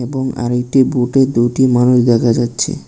এবং আরেকটি বোটে দুইটি মানুষ দেখা যাচ্ছে।